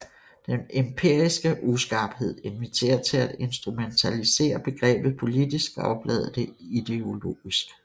Den empiriske uskarphed inviterer til at instrumentalisere begrebet politisk og oplade det ideologisk